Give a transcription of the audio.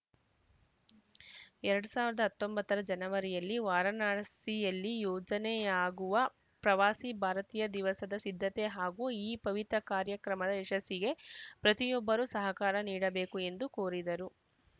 ಎರಡ್ ಸಾವಿರದ ಹತ್ತೊಂಬತ್ತರ ಜನವರಿಯಲ್ಲಿ ವಾರಣಾಸಿಯಲ್ಲಿ ಯೋಜನೆಯಾಗುವ ಪ್ರವಾಸಿ ಭಾರತೀಯ ದಿವಸದ ಸಿದ್ಧತೆ ಹಾಗೂ ಈ ಪವಿತ್ರ ಕಾರ್ಯಕ್ರಮದ ಯಶಸ್ಸಿಗೆ ಪ್ರತಿಯೊಬ್ಬರೂ ಸಹಕಾರ ನೀಡಬೇಕು ಎಂದು ಕೋರಿದರು